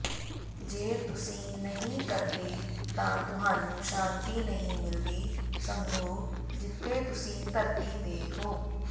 ਜੇ ਤੁਸੀਂ ਨਹੀਂ ਕਰਦੇ ਤਾਂ ਤੁਹਾਨੂੰ ਸ਼ਾਂਤੀ ਨਹੀਂ ਮਿਲਦੀ ਸਮਝੋ ਜਿੱਥੇ ਤੁਸੀਂ ਧਰਤੀ ਤੇ ਹੋ